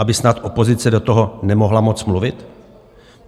Aby snad opozice do toho nemohla moc mluvit?